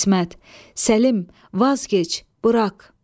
İsmət, Səlim, vazgeç, burax.